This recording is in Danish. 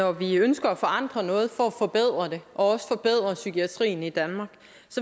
at når vi ønsker at forandre noget for at forbedre det og også forbedre psykiatrien i danmark